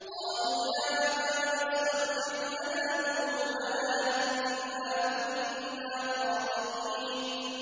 قَالُوا يَا أَبَانَا اسْتَغْفِرْ لَنَا ذُنُوبَنَا إِنَّا كُنَّا خَاطِئِينَ